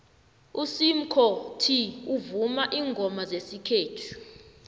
usimkhot uvuma iingoma zesikhethu